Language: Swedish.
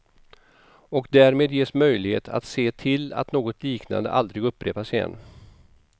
Och därmed ges möjlighet att se till att något liknande aldrig upprepas igen.